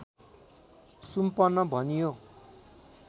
सुम्पन भनियो